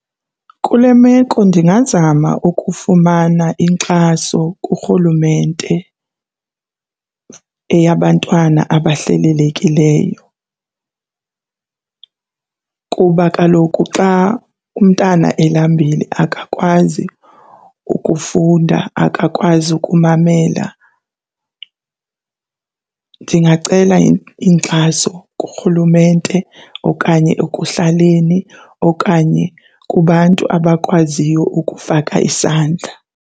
Kule meko ndingazama ukufumana inkxaso kuRhulumente eyabantwana abahlelelekileyo kuba kaloku xa umntana elambile, akakwazi ukufunda, akakwazi ukumamela. Ndingacela inkxaso kuRhulumente okanye ekuhlaleni okanye kubantu abakwaziyo ukufaka isandla.